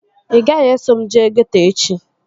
Ị gaghị eso m jee geeto echi